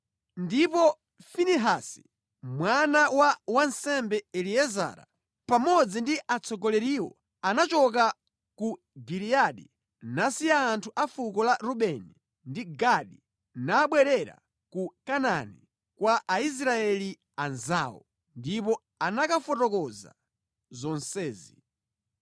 Ndipo Finehasi mwana wa wansembe Eliezara, pamodzi ndi atsogoleriwo anachoka ku Giliyadi nasiya anthu a fuko la Rubeni ndi Gadi nabwerera ku Kanaani kwa Aisraeli anzawo, ndipo anakafotokoza zonsezi.